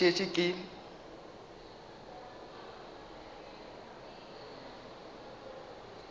ka ge ke šetše ke